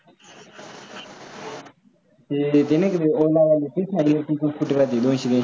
ते नाही का ओलावाले electric scooter दोनशे दोनशे